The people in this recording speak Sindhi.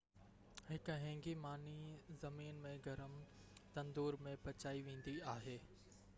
هڪ هينگي ماني زمين ۾ گرم تندور ۾ پچائي ويندي آهي